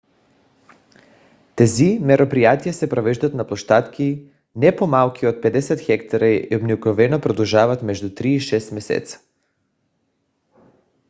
тези мероприятия се провеждат на площадки не по - малки от 50 хектара и обикновено продължават между три и шест месеца